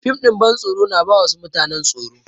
Fim ɗin bantsoro na ba wasu mutanen tsoro.